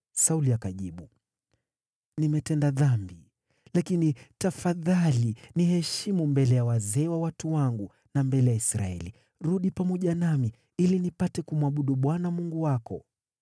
Sauli akajibu, “Nimetenda dhambi. Lakini tafadhali niheshimu mbele ya wazee wa watu wangu na mbele ya Israeli; rudi pamoja nami, ili nipate kumwabudu Bwana Mungu wako.”